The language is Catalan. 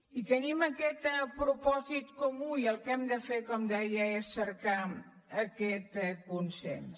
i tenim aquest propòsit comú i el que hem de fer com deia és cercar aquest consens